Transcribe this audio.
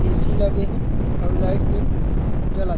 ऐ सी लगे हे अऊ लाइट में जलत--